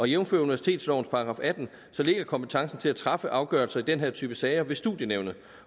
jævnfør universitetslovens § atten ligger kompetencen til at træffe afgørelser i den her type sager ved studienævnet